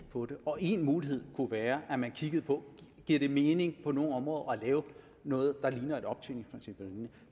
på det og én mulighed kunne være at man kiggede på giver det mening på nogle områder at lave noget der ligner et optjeningsprincip